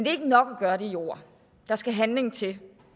er ikke nok at gøre det i ord der skal handling til